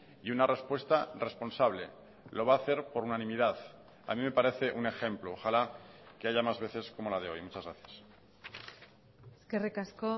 y una respuesta responsable lo va a hacer por unanimidad a mí me parece un ejemplo ojalá que haya más veces como la de hoy muchas gracias eskerrik asko